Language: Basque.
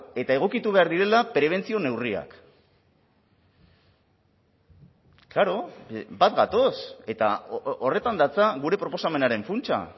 eta egokitu behar direla prebentzio neurriak klaro bat gatoz eta horretan datza gure proposamenaren funtsa